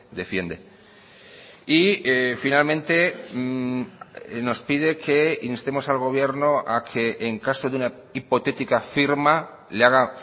defiende y finalmente nos pide que instemos al gobierno a que en caso de una hipotética firma le haga